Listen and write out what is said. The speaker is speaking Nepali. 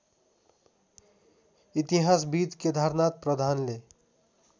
इतिहासविद् केदारनाथ प्रधानले